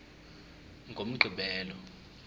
ngomgqibelo